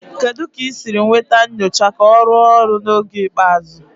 Kedu ka ị siri nweta nyocha ka ọ rụọ ọrụ n'oge ikpeazụ?